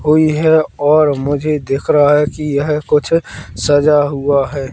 हुई है और मुझे दिख रहा है कि यह कुछ सजा हुआ है।